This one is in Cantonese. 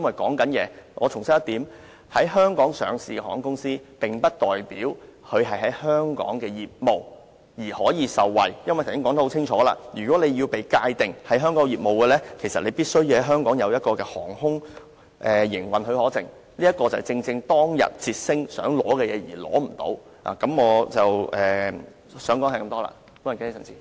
我必須重申一點，在香港上市的航空公司，並不代表其在香港的業務可以受惠，因為剛才已很清楚說明，若要被界定為香港業務，必須在香港領有航空營運許可證，這正是捷星航空當天希望取得卻得不到的東西。